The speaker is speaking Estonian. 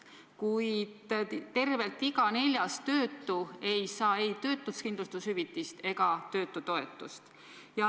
Kuid tervelt iga neljas töötu ei saa ei töötuskindlustushüvitist ega töötutoetust.